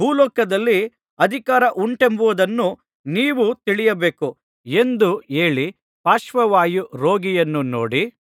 ಭೂಲೋಕದಲ್ಲಿ ಅಧಿಕಾರ ಉಂಟೆಂಬುದನ್ನು ನೀವು ತಿಳಿಯಬೇಕು ಎಂದು ಹೇಳಿ ಪಾರ್ಶ್ವವಾಯು ರೋಗಿಯನ್ನು ನೋಡಿ